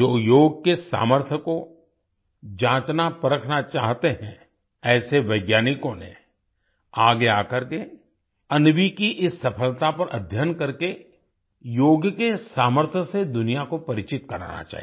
जो योग के सामर्थ को जांचनापरखना चाहते हैं ऐसे वैज्ञानिकों ने आगे आकर के अन्वी की इस सफलता पर अध्ययन करके योग के सामर्थसे दुनिया को परिचित कराना चाहिए